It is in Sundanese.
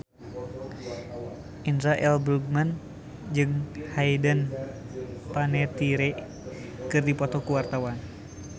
Indra L. Bruggman jeung Hayden Panettiere keur dipoto ku wartawan